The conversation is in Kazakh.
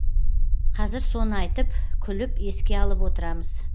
қазір соны айтып күліп еске алып отырамыз